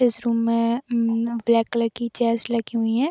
इस रूम में उम्म ब्लैक कलर की चेयर्स लगी हुई है।